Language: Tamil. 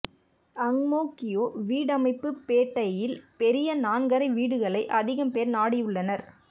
அங் மோ கியோ வீடமைப்புப் பேட்டையில் பெரிய நான்கறை வீடுகளை அதிகம் பேர் நாடியுள்ளனர்